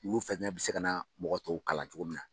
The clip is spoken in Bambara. Ulu fɛnɛ bɛ se ka na mɔgɔ tɔw kalan cogo min na.